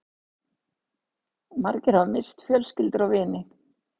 Margir hafa misst fjölskyldur og vini